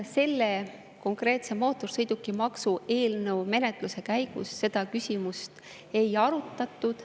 Selle konkreetse, mootorsõidukimaksu eelnõu menetluse käigus seda küsimust ei arutatud.